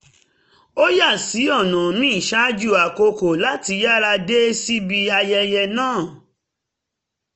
a yà sí ọ̀nà míì ṣáájú àkókò láti yára dé síbi ayẹyẹ náà